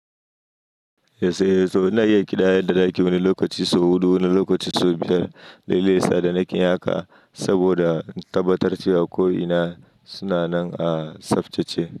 Yeso, ina iya ƙidaya da daki wani lokaci sau huɗu wani lokaci sau biyar, dai lesa da nake yi haka saboda tabbatar cewa ko ina suna nan a tsaftace.